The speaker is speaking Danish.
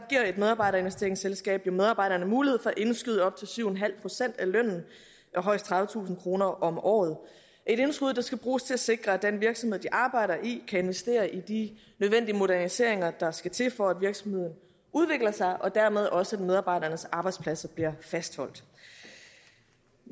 et medarbejderinvesteringsselskab medarbejderne mulighed for at indskyde op til syv procent af lønnen højst tredivetusind kr om året et indskud der skal bruges til at sikre at den virksomhed de arbejder i kan investere i de nødvendige moderniseringer der skal til for at virksomheden udvikler sig og dermed også at medarbejdernes arbejdspladser bliver fastholdt